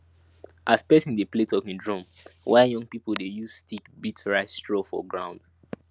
as person dey play talking drum while young people dey use stick beat rice straw for ground